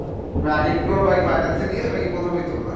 এর আগে কি কোনো bike finance এ নিয়েছো নাকি প্রথমই তো না?